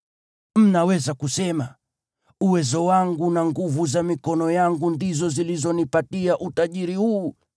Mnaweza kusema, “Uwezo wangu na nguvu za mikono yangu ndizo zilizonipatia utajiri huu.”